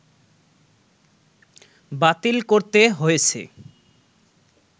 বাতিল করতে হয়েছে